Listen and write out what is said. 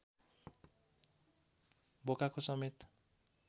बोकाको समेत